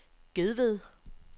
Gedved